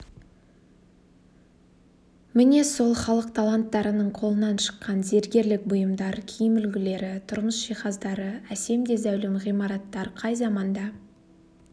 міне сол халық таланттарының қолынан шыққан зергерлік бұйымдар киім үлгілері тұрмыс жиһаздары әсем де зәулім ғимараттар қай заманда